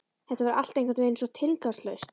Þetta var allt einhvernveginn svo tilgangslaust.